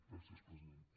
gràcies presidenta